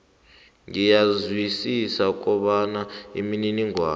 ngiyezwisisa kobana imininingwana